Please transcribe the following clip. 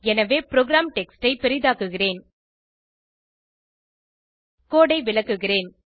எனவே program text ஐ பெரிதாக்குகிறேன் கோடு ஐ விளக்குகிறேன்